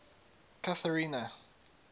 catherina